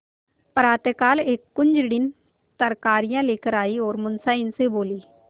प्रातःकाल एक कुंजड़िन तरकारियॉँ लेकर आयी और मुंशियाइन से बोली